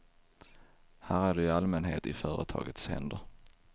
Här är du i allmänhet i företagets händer.